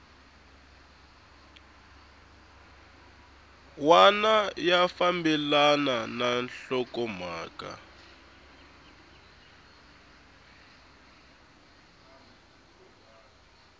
wana ya fambelana na nhlokomhaka